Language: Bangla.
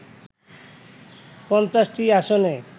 ৫০টি আসনে